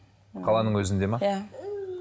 қаланың өзінде ме иә